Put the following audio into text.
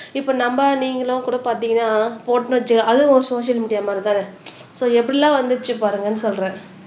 இப்ப நம்ம நீங்களும் கூட பாத்தீங்கன்னா போட்டோம்னு வெச்சுக்கோங்க அதுவும் ஒரு சோசியல் மீடியா மாரிதானே சோ எப்படியெல்லாம் வந்துச்சு பாருங்கன்னு சொல்றேன்